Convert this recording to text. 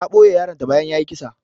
Ta ɓoye yaron ta bayan yayi kisa.